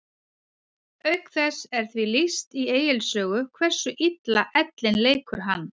Auk þess er því lýst í Egils sögu hversu illa ellin leikur hann.